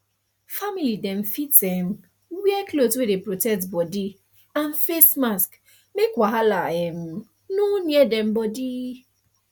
family dem fit um wear cloth wey dey protect body and face mask make wahala um nor near dem body